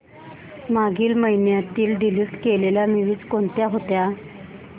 मागील महिन्यात डिलीट केलेल्या मूवीझ कोणत्या होत्या